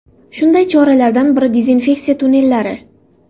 Shunday choralardan biridezinfeksiya tunnellari.